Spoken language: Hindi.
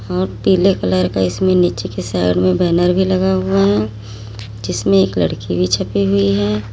और पीले कलर का इसमें नीचे के साइड में बैनर भी लगा हुआ है जिसमें एक लड़की भी छुपी हुई है।